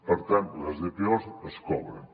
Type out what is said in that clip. per tant les dpos es cobren